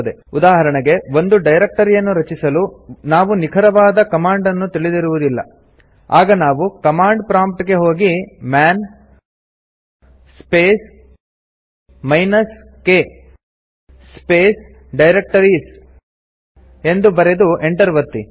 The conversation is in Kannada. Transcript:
ಉದಾಹರಣೆಗೆ ಒಂದು ಡೈರೆಕ್ಟರಿ ಯನ್ನು ರಚಿಸಲು ನಾವು ನಿಖರವಾದ ಕಮಾಂಡ್ ನ್ನು ತಿಳಿದಿರುವುದಿಲ್ಲ ಆಗ ನಾವು ಕಮಾಂಡ್ ಪ್ರಾಂಪ್ಟ್ ಗೆ ಹೋಗಿ man space minus k space directories ಎಂದು ಬರೆದು ಎಂಟರ್ ಒತ್ತಿ